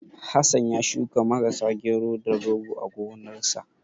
Hassan ya shuka Marasa, Gero, da Rogo a gonarsa.